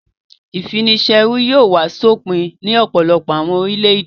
Ìfini-ṣẹrú yóò wá sópin ní ọ̀pọ̀lọpọ̀ àwọn orílẹ̀-èdè.